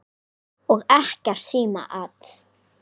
Og ekkert símaat.